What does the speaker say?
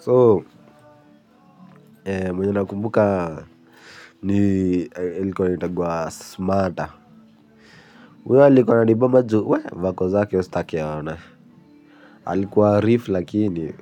So, mwenye na kumbuka ni ilikuwa anaitagwa smata uyo alikuwa anibamba juu, vako zake staki aone. Alikuwa rif lakini,